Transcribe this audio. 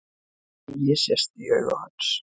Tregi sest í augu hans.